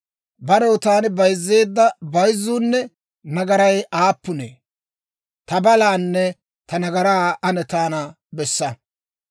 Barew, taani bayzzeedda bayzzuunne nagaray aappunee? Ta balaanne ta nagaraa ane taana bessa.